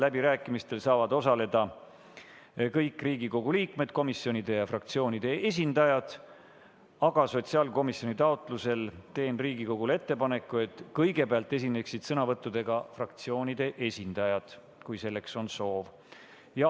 Läbirääkimistel saavad osaleda kõik Riigikogu liikmed, komisjonide ja fraktsioonide esindajad, aga sotsiaalkomisjoni taotlusel teen Riigikogule ettepaneku, et kõigepealt esineksid sõnavõttudega fraktsioonide esindajad, kui selleks on soovi.